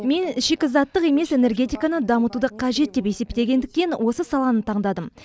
мен шикізаттық емес энергетиканы дамытуды қажет деп есептегендіктен осы саланы таңдадым